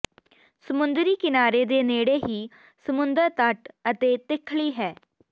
ਸਮੁੰਦਰੀ ਕਿਨਾਰੇ ਦੇ ਨੇੜੇ ਹੀ ਸਮੁੰਦਰ ਤੱਟ ਅਤੇ ਤਿੱਖਲੀ ਹੈ